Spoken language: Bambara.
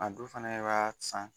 A don fɛnɛ i b'a san